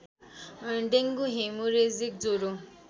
dengue hemorrhagic ज्वरो